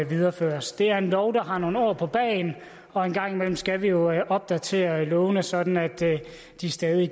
videreføres det er en lov der har nogle år på bagen og en gang imellem skal vi jo opdatere lovene sådan at de stadig